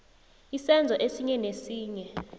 isenzo esinye nesinye